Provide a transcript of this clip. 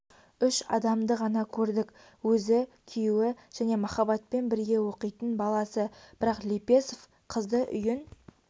үш адамды ғана көрдік өзі күйеуі және маахаббатпен бірге оқитын баласы бірақ лепесов қызды үйін